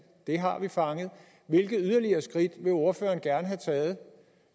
det har vi fanget hvilke yderligere skridt vil ordføreren gerne have taget